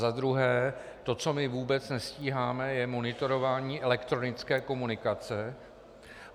Za druhé to, co my vůbec nestíháme, je monitorování elektronické komunikace.